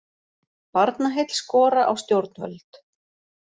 Barnaheill skora á stjórnvöld